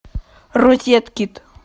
розеткид